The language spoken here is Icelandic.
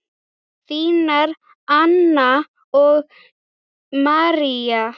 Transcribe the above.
Þínar Anna og María.